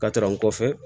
Ka taga n kɔfɛ